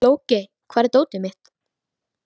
Logey, hvar er dótið mitt?